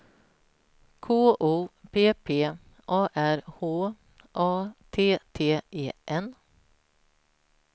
K O P P A R H A T T E N